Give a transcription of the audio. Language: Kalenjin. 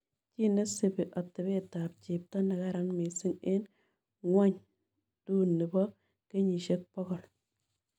Chii nesipii atepeetap chepto negaran miising' eng' ng'wonydunipo kenyisiek pogol